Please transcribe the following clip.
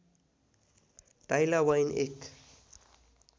टाइला वाइन एक